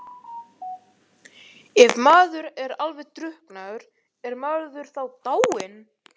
Ef maður er alveg drukknaður, er maður þá dáinn?